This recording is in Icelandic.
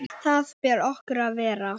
Þar ber okkur að vera!